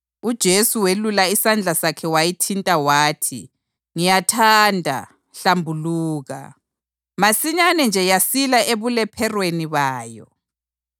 UJesu welula isandla sakhe wayithinta wathi, “Ngiyathanda, hlambuluka!” Masinyane nje yasila ebulepherweni bayo.